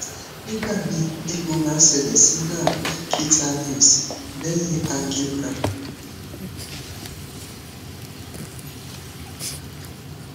nigbami egbo ma n sele si nerve cutaneous lehin angiogram